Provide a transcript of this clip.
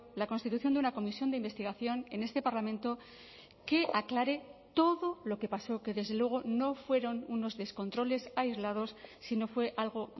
la constitución de una comisión de investigación en este parlamento que aclare todo lo que pasó que desde luego no fueron unos descontroles aislados sino fue algo